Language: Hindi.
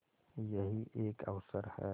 यही एक अवसर है